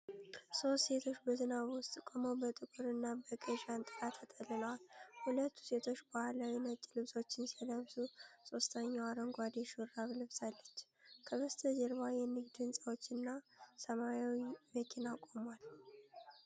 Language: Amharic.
ሶስት ሴቶች በዝናብ ውስጥ ቆመው በጥቁር እና በቀይ ጃንጥላ ተጠልለዋል። ሁለቱ ሴቶች ባህላዊ ነጭ ልብሶችን ሲለብሱ ሦስተኛዋ አረንጓዴ ሹራብ ለብሳለች። ከበስተጀርባ የንግድ ሕንፃዎች እና ሰማያዊ መኪና ቆሟል።